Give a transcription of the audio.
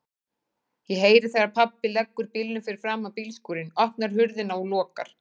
Ég heyri þegar pabbi leggur bílnum fyrir framan bílskúrinn, opnar hurðina og lokar.